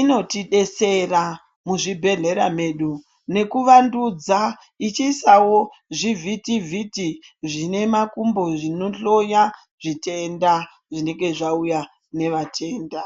inotidetsera muzvibhedhlera medu nekuvandudza ichiisawo zvivhiti vhiti zvine makumbo zvinohloya zvitenda zvinenge zvauya nevatenda.